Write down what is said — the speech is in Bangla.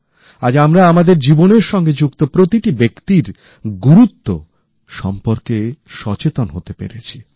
আজ আমরা আমাদের জীবনের সঙ্গে যুক্ত প্রতিটি ব্যক্তির গুরুত্ব সম্পর্কে সচেতন হতে পেরেছি